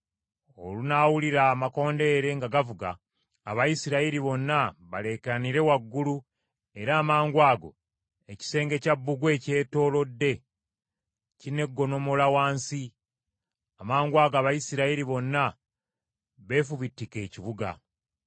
Olunaawulira amakondeere nga gavuga, Abayisirayiri bonna baleekaanire waggulu era amangwago ekisenge kya bbugwe ekyetoolodde kineegonnomola wansi; amangwago Abayisirayiri bonna beefubitike ekibuga.”